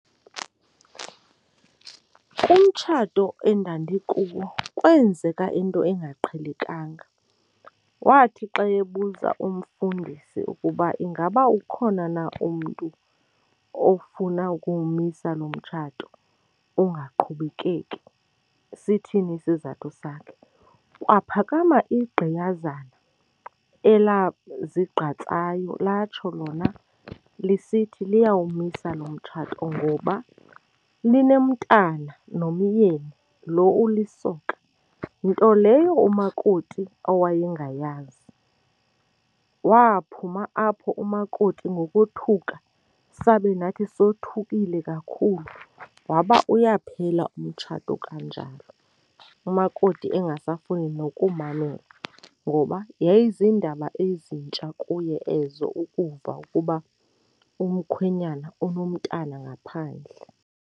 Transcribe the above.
Umtshato endandikuwo kwenzeka into engaqhelekanga. Wathi xa ebuza umfundisi ukuba ingaba ukhona na umntu ofuna ukuwumisa lo mtshato ungaqhubekeki, sithini isizathu sakhe, kwaphakama igqiyazana elazigqatsayo latsho lona lisithi liyawumisa lo mtshato ngoba linomntana nomyeni lo ulisoka. Nto leyo umakoti owayengayazi. Waphuma apho umakoti ngokothuka sabe nathi sothukile kakhulu waba uyaphela umtshato kanjalo, umakoti engasafuni nokumamela ngoba yayiziindaba ezintsha kuye ezo ukuva ukuba umkhwenyana onomntwana ngaphandle.